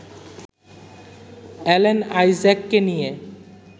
Alan আইজ্যাককে নিয়ে